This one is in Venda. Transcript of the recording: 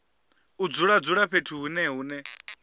u dzula dzula fhethu hune